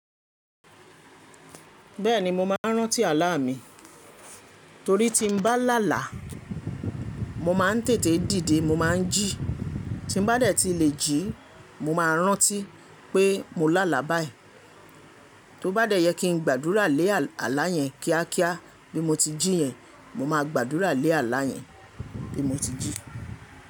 Bẹ́ẹ̀ni mo máa ń rántí àlá mi, torí tí n bá lálàá mo máa ń tètè dìde mo máa ń jì. Tí n bá dẹ̀ ti lè jí mo máa rántí pé mo lálà báyii. Tó bá dẹ̀ yẹ kí n gbàdúrà lé àlá yẹn kíá kíá bí mo ti jí yẹn, mo ma gbàdúrà lé àlá yẹn bí mo ti jí.